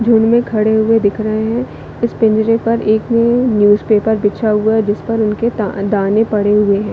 जिनमें खड़े हुए दिख रहै है इस पिंजरे पर एक न्यूज़पेपर बिछा हुआ है जिस पर उनके दा दाने पड़े हुए हैं।